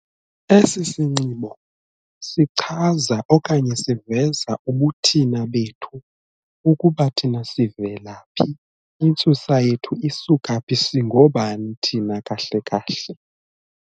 Esi sinxibo sichaza okanye siveza ubuthina bethu ukuba thina sivela phi, intsusa yethu isuka phi, singoobani thina kahle kahle.